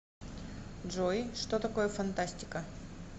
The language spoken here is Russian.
джой что такое фантастика